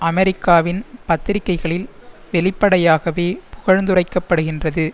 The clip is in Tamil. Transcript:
அமெரிக்காவின் பத்திரிகைகளில் வெளிப்படையாகவே புகழ்ந்துரைக்கப்படுகின்றது